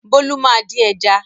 Bólú máa dín ẹja.